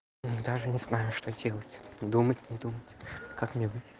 даже не знаю что делать думать не думать как мне быть